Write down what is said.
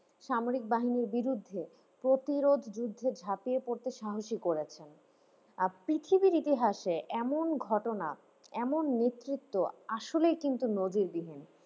সামরিক বাহিনীর বিরুদ্ধে প্রতিরোধ যুদ্ধে ঝাঁপিয়ে পড়তে সাহসী করেছেন। আর পৃথিবীর ইতিহাসে এমন ঘটনা এমন নেতৃত্ব আসলেই কিন্তু নজিরবিহীন।